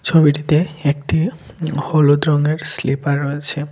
ছবিটিতে একটি হলুদ রঙের স্লিপার রয়েছে।